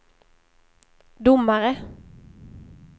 domare